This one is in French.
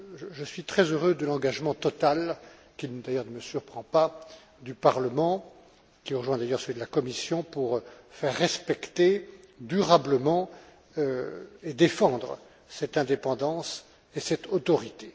Je suis très heureux de l'engagement total qui ne me surprend pas du Parlement, qui rejoint d'ailleurs celui de la Commission, pour faire respecter durablement et défendre cette indépendance et cette autorité.